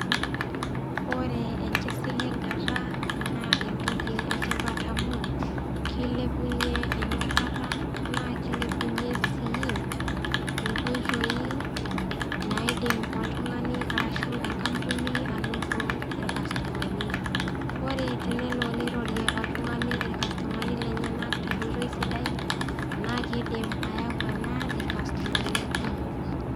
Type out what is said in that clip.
Ore enkisiligata naa entoki e tipat amu, keilepunye enyorata naa keilepunye sii inkoitoi naidim oltung'ani arrashu enkampuni ainoto ilkastomani, ore tenelo neirorie oltung'ani ilkastomani lenyena te enkoitoi sidai naa keidim ena ayau ilkastomani kumok.